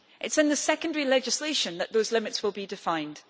It is in the secondary legislation that those limits will be defined.